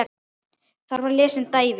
Þar var lesinn David